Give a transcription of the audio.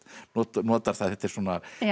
notar það þetta er svona